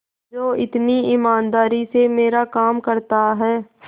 जो इतनी ईमानदारी से मेरा काम करता है